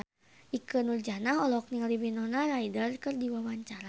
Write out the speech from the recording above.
Ikke Nurjanah olohok ningali Winona Ryder keur diwawancara